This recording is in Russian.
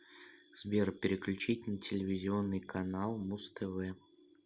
сбер переключить на телевизионный канал муз тв